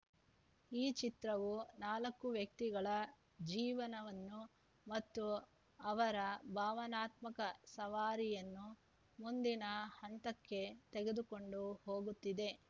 ಈ ಚಿತ್ರವು ನಾಲ್ಕು ವ್ಯಕ್ತಿಗಳ ಜೀವನವನ್ನು ಮತ್ತು ಅವರ ಭಾವನಾತ್ಮಕ ಸವಾರಿಯನ್ನು ಮುಂದಿನ ಹಂತಕ್ಕೆ ತೆಗೆದುಕೊಂಡು ಹೋಗುತ್ತಿದೆ